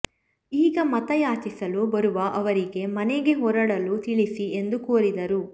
ಈಗ ಮತ ಯಾಚಿಸಲು ಬರುವ ಅವರಿಗೆ ಮನೆಗೆ ಹೊರಡಲು ತಿಳಿಸಿ ಎಂದು ಕೋರಿದರು